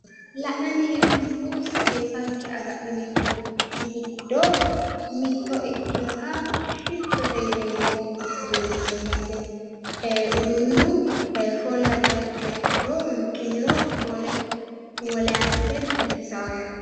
la'nanni hee'noommohu seesanke agadhineemmorichi giddo mitto ikkewooha shiottote yineemmo uduunnichooti yaate. uduunnu foole abbiha ikkiha ikkiro riqqiniro foole biifisaaho yaate.